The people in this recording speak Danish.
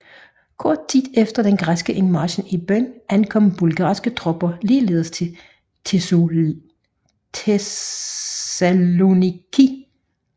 Kort tid efter den græske indmarch i byen ankom bulgarske tropper ligeledes til Thessaloniki